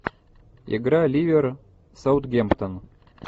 игра ливера с саутгемптон